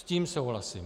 S tím souhlasím.